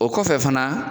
O kɔfɛ fana